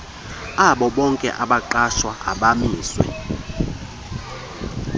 abobonke abagqatswa abamiswe